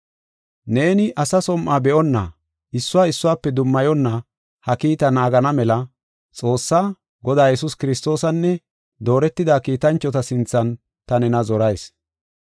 Neeni asa som7o be7onna, issuwa issuwafe dummayonna ha kiitaa naagana mela Xoossaa, Godaa Yesuus Kiristoosanne dooretida kiitanchota sinthan ta nena zorayis.